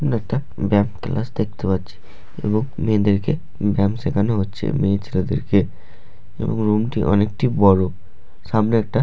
এখানে একটা ব্যায়াম ক্লাস দেখতে পাচ্ছি এবং মেয়েদেরকে ব্যায়াম শেখানো হচ্ছে মেয়ে ছেলেদেরকে এবং রুম -টি অনেকটি বড়ো সামনে একটা--